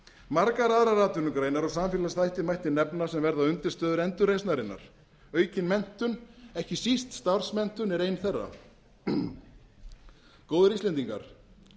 margar aðrar atvinnugreinar og samfélagsþætti mætti nefna sem verða undirstöður endurreisnarinnar aukin menntun ekki síst starfsmenntun er ein þeirra góðir íslendingar